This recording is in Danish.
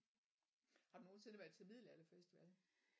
Har du nogensinde været til middelalderfestival?